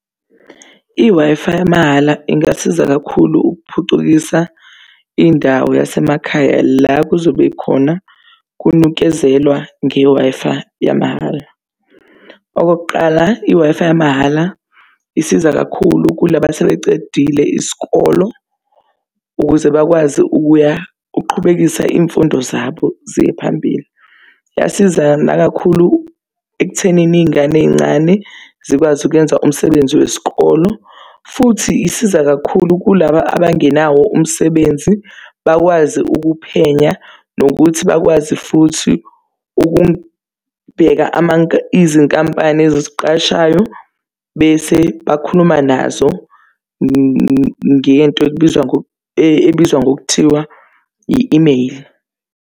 I-Wi-Fi yamahhala ingasiza kakhulu ukuphucukisa indawo yasemakhaya la kuzobe khona kunikezelwa nge-Wi-Fi yamahhala. Okokuqala, i-Wi-Fi yamahhala isiza kakhulu kulaba asebecedile isikolo ukuze bakwazi ukuya, ukuqhubekisa iy'mfundo zabo ziye phambili. Kuyasiza nakakhulu ekuthenini iy'ngane ey'ncane zikwazi ukuyenza umsebenzi wesikolo. Futhi isiza kakhulu kulaba abangenawo umsebenzi, bakwazi ukuphenya. Nokuthi bakwazi futhi ukubheka izinkampani ezisiqashayo bese bakhuluma nazo ngento ekubizwa ebizwa ngokuthiwa i-email.